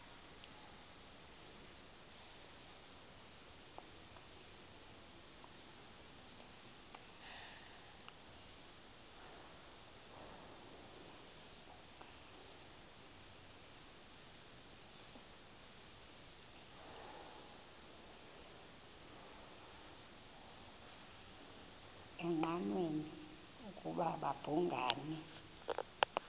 engqanweni ukuba babhungani